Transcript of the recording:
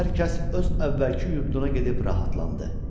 Hər kəs öz əvvəlki yurduna gedib rahatlandı.